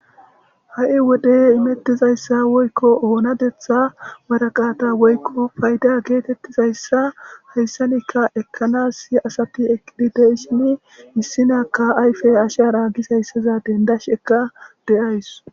Ha7i wode imetizayssa woykko onateththa maragata woykko paydda getetizayssa hayssappekka ekanassi issi asati eqidi de7ishin, issinakka ayfe ashshara gizayssa hessaza denddashekka de7awus.